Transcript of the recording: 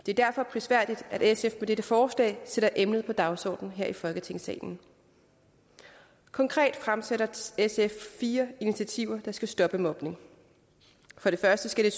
det er derfor prisværdigt at sf med dette forslag sætter emnet på dagsordenen her i folketingssalen konkret fremsætter sf fire initiativer der skal stoppe mobning for det første skal